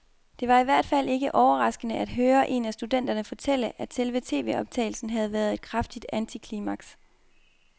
Det var i hvert fald ikke overraskende at høre en af studenterne fortælle, at selve tvoptagelsen havde været et kraftigt antiklimaks.